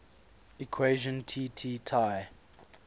equation tt tai